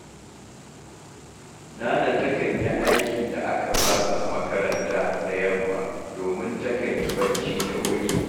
Nana takan yi aikin da aka ba su a makaranta da yamma, domin takan yi barci da wuri